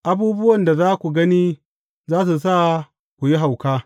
Abubuwan da za ku gani za su sa ku yi hauka.